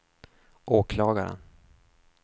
åklagaren